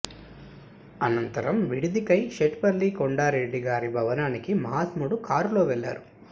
అనంతరం విడిదికై శెట్టిపల్లి కొండారెడ్డి గారి భవనానికి మహాత్ముడు కారులో వెళ్లారు